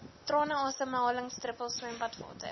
trane asemhalingsdruppels swembadwater